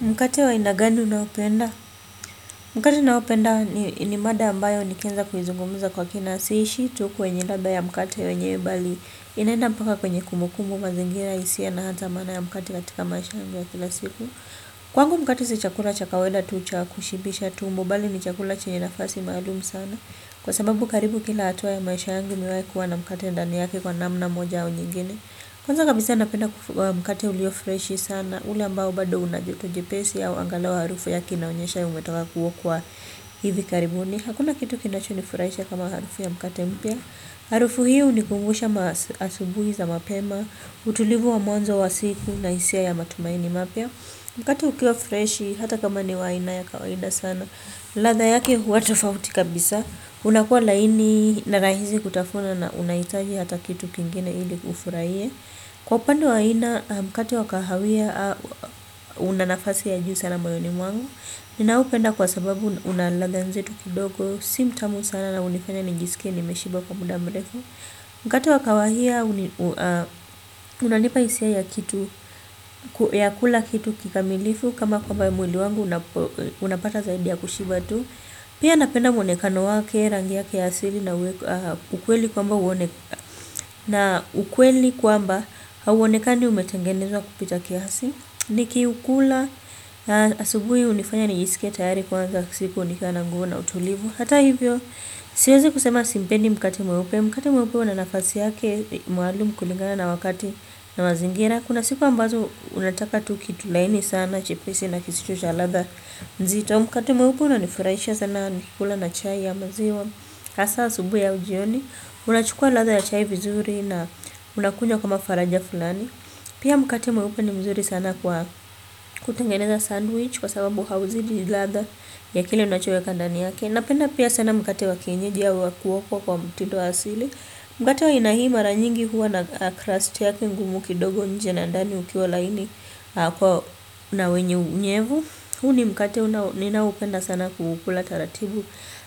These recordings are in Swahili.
Mkate wa aina gani unaopenda? Mkate naopenda ni mada ambayo nikianza kuizungumza kwa kina. Siishii tu kwenye ladha ya mkate wenyewe bali inaenda mpaka kwenye kumbukumbu, mazingira hisia na hata maana ya mkate katika maisha yangu ya kila siku. Kwangu mkate si chakula cha kawaida tu cha kushibisha tumbo bali ni chakula chenye nafasi maalum sana. Kwa sababu karibu kila hatua ya maisha yangu nimewahi kuwa na mkate ndani yake kwa namna moja au nyingine. Kwanza kabisa napenda mkate uliofreshi sana ule ambao bado una joto jepesi au angalau harufu yake inaonyesha umetoka kuokwa hivi karibuni. Hakuna kitu kinachonifurahisha kama harufu ya mkate mpya. Harufu hii hunikumbusha asubuhi za mapema, utulivu wa mwanzo wa siku na hisia ya matumaini mapya. Mkate ukiwa freshi hata kama ni wa aina ya kawaida sana. Ladha yake huwa tofauti kabisa. Unakuwa laini na rahisi kutafuna na unahitaji hata kitu kingine ili ufurahie. Kwa upandu wa aina mkate wa kahawia una nafasi ya juu sana moyoni mwangu. Ninaupenda kwa sababu una ladha nzito kidogo. Si mtamu sana na hunifanya nijisikie nimeshiba kwa muda mrefu. Mkate wa kawahia, unanipa hisia ya kitu, ya kula kitu kikamilifu kama kwamba mwili wangu unapata zaidi ya kushiba tu. Pia napenda mwonekano wake, rangi yake ya asili na ukweli kwamba hauonekani umetengenezwa kupita kiasi. Nikiukula, asubuhi hunifanya nijisikie tayari kuanza siku nikiwa na nguvu na utulivu. Hata hivyo, siwezi kusema simpendi mkate mweupe. Mkate mweupo una nafasi yake maalum kulingana na wakati na mazingira. Kuna siku ambazo unataka tu kitu laini sana, chepesi na kisicho cha ladha nzito. Mkate mweupe unanifurahisha sana nikikula na chai ya maziwa. Hasa asubuhi au jioni, unachukua ladha ya chai vizuri na unakunywa kama faraja fulani. Pia mkate mweupe ni mzuri sana kwa kutengeneza sandwich kwa sababu hauzidi ladha ya kile unachoweka ndani yake. Napenda pia sana mkate wa kienyeji au wa kuokwa kwa mtindo wa asili. Mkate wa aina hii mara nyingi huwa na crust yake ngumu kidogo nje na ndani ukiwa laini na wenye unyevu. Huu ni mkate ninaohupenda sana kuukula taratibu.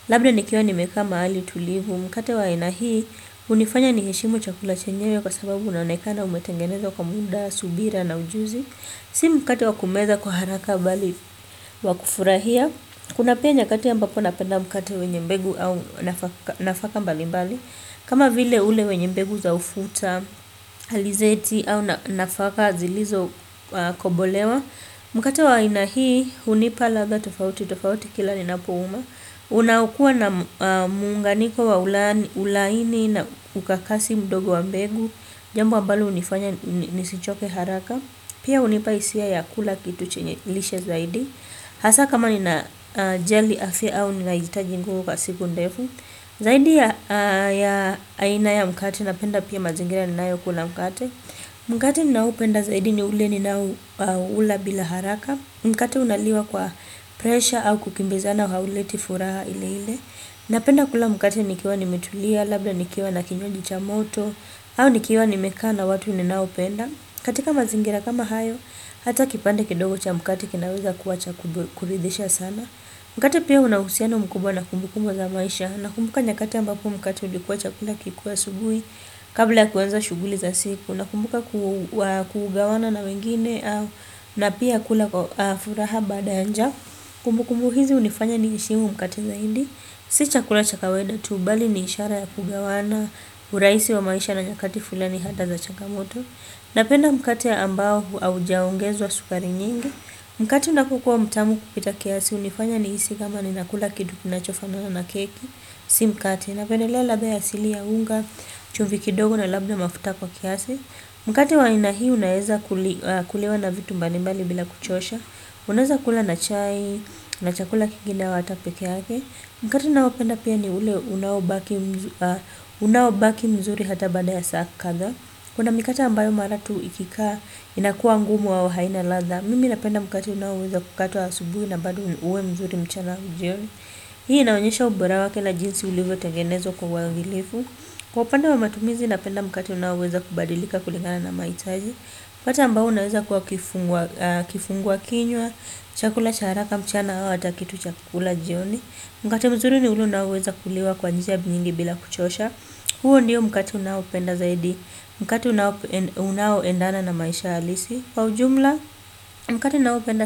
Labda nikiwa nimekaa mahali tulivu. Mkate wa haina hii hunifanya niheshimu chakula chenyewe kwa sababu unaonekana umetengenezwa kwa muda, subira na ujuzi. Si mkate wa kumeza kwa haraka bali wa kufurahia. Kuna pia nyakati ambapo napenda mkate wenye mbegu au nafaka mbali mbali. Kama vile ule wenye mbegu za ufuta, alizeti au nafaka zilizokobolewa. Mkate wa aina hii, hunipa ladha tofauti, tofauti kila ninapouma. Unaokuwa na muunganiko wa ulaini na ukakasi mdogo wa mbegu jambo ambalo hunifanya, nisichoke haraka. Pia hunipa hisia ya kula kitu chenye lishe zaidi hasa kama ninajali afya au ninahitaji nguvu kwa siku ndefu zaidi ya aina ya mkate napenda pia mazingira ninayokula mkate mkate ninaohupenda zaidi ni ule ninao ula bila haraka mkate unaliwa kwa presha au kukimbizana hauleti furaha ile ile napenda kula mkate nikiwa nimetulia labda nikiwa na kinywaji cha moto au nikiwa nimekaa na watu ninaopenda. Katika mazingira kama hayo, hata kipande kidogo cha mkate kinaweza kuwa cha kuridhisha sana. Mkate pia una uhusiano mkubwa na kumbukumu za maisha. Nakumbuka nyakati ambapo mkate ulikuwa chakula kikuwe asubuhi kabla ya kuanza shughuli za siku. Nakumbuka kugawana na wengine na pia kula furaha baada ya njaa. Kumbukumbu hizi hunifanya niheshimu mkate zaidi. Si chakula cha kawaida tu, bali ni ishara ya kugawana urahisi wa maisha na nyakati fulani hata za changamoto. Napenda mkate ambao haujaongezwa sukari nyingi. Mkate unapokuwa mtamu kupita kiasi hunifanya nihisi kama ninakula kitu kinachofanana na keki. Si mkate. Napendelea ladha ya asili ya unga, chumvi kidogo na labda mafuta kwa kiasi. Mkate wa haina hii unaeza kuliwa na vitu mbalimbali bila kuchosha. Unaeza kula na chai, na chakula kingine au hata pekee yake. Mkate naopenda pia ni ule unaobaki mzuri hata baada ya saa kadhaa. Kuna mikate ambayo mara tu ikikaa inakuwa ngumu au haina ladha. Mimi napenda mkate unaoweza kukatwa asubuhi na bado uwe mzuri mchana au jioni. Hii inaonyesha ubora wake na jinsi ulivyo tengenezwa kwa uangilifu. Kwa upande wa matumizi napenda mkate unaoweza kubadilika kulingana na maitaji. Kwa upande wa matumizi inapenda mkati unaweza kubadilika kulingana na maitaji. Kwa upande ambayo unaweza kukato wa kinywa, chakula charaka mchana hawa ata kitu cha kukula jioni. Mkati mzuri ni ule unaoweza kuliwa kwa njia nyingi bila kuchosha. Huo ndiyo mkati unaopenda zaidi mkati unao endana na maisha alisi kwa ujumla mkati unaopenda zaidi.